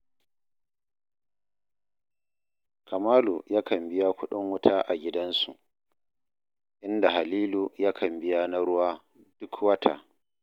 Kamalu yakan biya kuɗin wuta a gidansu, inda Halilu yakan biya na ruwa duk wata